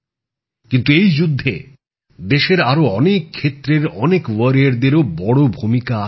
কিন্তু এই যুদ্ধে দেশের আরো অনেক ক্ষেত্রের অনেক যোদ্ধাদেরও বড় ভূমিকা আছে